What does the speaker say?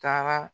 Taara